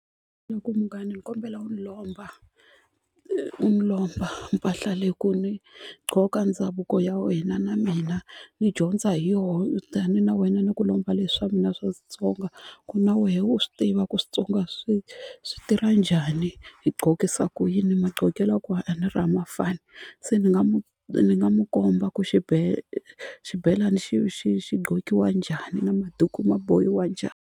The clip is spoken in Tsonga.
Ni ku munghana ni kombela u ni lomba u ni lomba mpahla leyi ku ni gqoka ndhavuko ya wena na mina ni dyondza hi yoho tani na wena ni ku lomba leswa mina swa Xitsonga ku na wehe u swi tiva ku Switsonga swi swi tirha njhani hi gqokisa ku yini magqokelo ya kona a ni ri a ma fani se ni nga ni nga mu komba ku xibelani xi xi xi gqokiwa njhani na maduku ma bohiwa njhani.